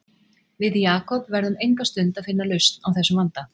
Við Jakob verðum enga stund að finna lausn á þessum vanda